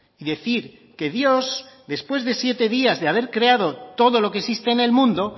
y decir que dios después de siete días de haber creado todo lo que existe en el mundo